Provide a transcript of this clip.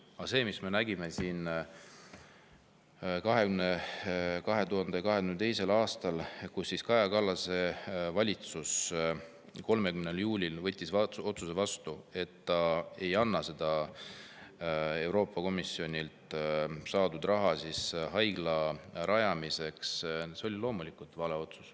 Aga see otsus, mida me nägime 2022. aastal – Kaja Kallase valitsus võttis 30. juulil vastu otsuse, et ta ei anna Euroopa Komisjonilt saadud raha haigla rajamiseks –, oli loomulikult vale.